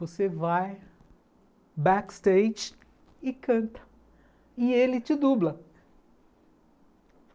Você vai backstage e canta, e ele te dubla.